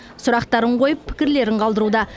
сұрақтарын қойып пікірлерін қалдыруда